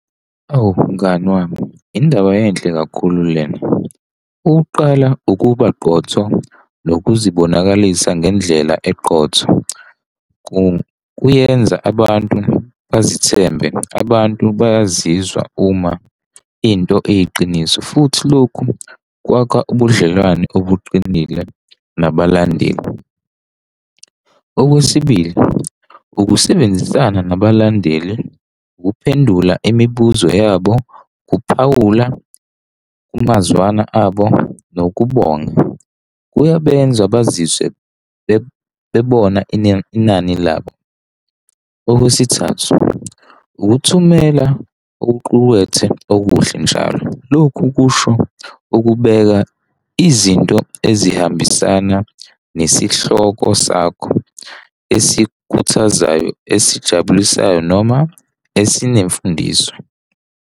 Awu, mngani wami, indaba enhle kakhulu lena. Ukuqala ukuba qotho nokuzibonakalisa ngendlela eqotho kuyenza abantu bazithembe abantu bayazizwa uma into iyiqiniso futhi lokhu kwakha ubudlelwano obuqinile nabalandeli. Okwesibili, ukusebenzisana nabalandeli, ukuphendula imibuzo yabo kuphawula kungazwana abo nokubonga kuyabenza beziswe bebona inani labo. Okwesithathu, ukuthumela okuqukethwe okuhle njalo. Lokhu kusho ukubeka izinto ezihambisana nesihloko sakho esikhuthazayo, esijabulisayo, noma esinemfundiso.